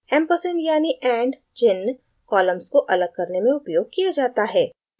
ampersand यानि and चिन्ह columns को अलग करने में उपयोग किया जाता है